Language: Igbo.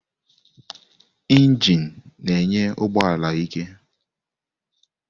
Injini na-enye ụgbọ ala ike.